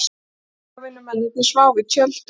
Vegavinnumennirnir sváfu í tjöldum.